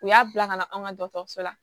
U y'a bila ka na an ka dɔgɔtɔrɔso la